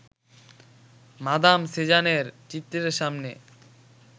madame সেজানের চিত্রের সামনে